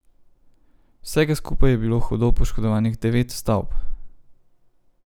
Vsega skupaj je bilo hudo poškodovanih devet stavb.